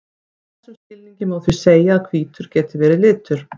í þessum skilningi má því segja að hvítur geti verið litur